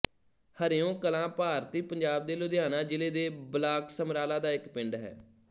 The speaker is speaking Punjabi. ਹਰਿਓਂ ਕਲਾਂ ਭਾਰਤੀ ਪੰਜਾਬ ਦੇ ਲੁਧਿਆਣਾ ਜ਼ਿਲ੍ਹੇ ਦੇ ਬਲਾਕ ਸਮਰਾਲਾ ਦਾ ਇੱਕ ਪਿੰਡ ਹੈ